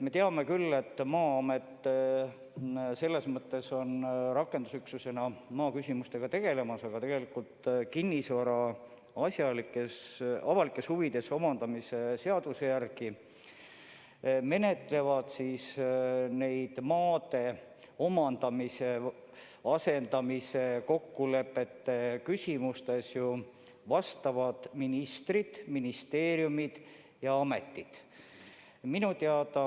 Me teame küll, et Maa-amet tegeleb rakendusüksusena maaküsimustega, aga tegelikult kinnisvara avalikes huvides omandamise seaduse järgi menetlevad neid maade omandamise ja asendamise kokkulepete küsimusi asjaomased ministrid, ministeeriumid ja ametid.